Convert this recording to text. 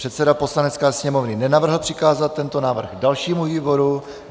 Předseda Poslanecké sněmovny nenavrhl přikázat tento návrh dalšímu výboru.